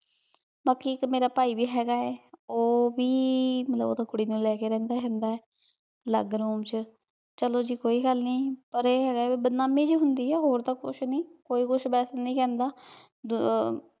ਬਾਕ਼ੀ ਏਇਕ ਮੇਰਾ ਪੈ ਵੀ ਹੇਗਾ ਆ ਊ ਵੀ ਮਾਤ੍ਰ੍ਲਾਬ ਓਥੇ ਕੁਰੀ ਲੇ ਕੇ ਰਹੰਦਾ ਹੇਗਾ ਆਯ ਅਲਗ room ਚ ਚਲੋ ਜੀ ਕੋਈ ਗਲ ਨਾਈ ਪਰ ਆਯ ਹੇਗਾ ਆਯ ਬਦਨਾਮੀ ਜੀ ਹੁੰਦੀ ਆ ਹੋਰ ਤਾਂ ਕੁਛ ਨਹੀ ਕੋਈ ਕੁਛ ਬਾਸ ਨਹੀ ਕਹੰਦਾ